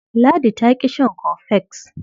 Ladi ta ƙi shan cofex.